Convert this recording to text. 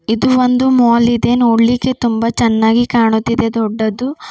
ಇದು ಒಂದು ಮಾಲ್ ಇದೆ ನೋಡ್ಲಿಕ್ಕೆ ತುಂಬಾ ಚೆನ್ನಾಗಿ ಕಾಣುತ್ತಿದೆ ದೊಡ್ಡದು.